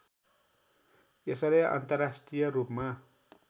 यसले अन्तर्राष्ट्रिय रूपमा